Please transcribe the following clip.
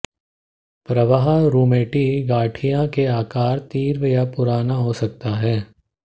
प्रवाह रुमेटी गठिया के आकार तीव्र या पुराना हो सकता है